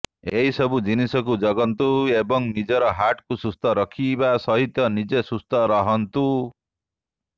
ଏହି ସବୁ ଜିନିଷକୁ ଜଗନ୍ତୃ ଏବଂ ନିଜର ହାର୍ଟ କୁ ସୁସ୍ଥ ରଖିବା ସହିତ ନିଜେ ସୁସ୍ଥ ରହନ୍ତୁ